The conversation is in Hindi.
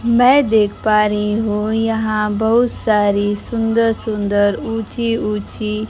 मैं देख पा रही हूं यहां बहोत सारी सुंदर सुंदर ऊंची ऊंची--